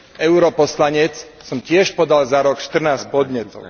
europoslanec som tiež podal za rok 14 podnetov.